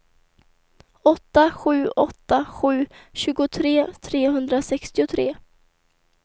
åtta sju åtta sju tjugotre trehundrasextiotre